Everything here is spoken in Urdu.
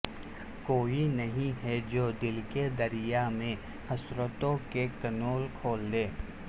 کوئی نہیں ہے جو دل کے دریا میں حسرتوں کے کنول کھلادے